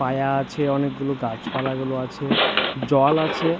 পায়া আছে অনেকগুলো গাছপালা গুলো আছে জল আছে ।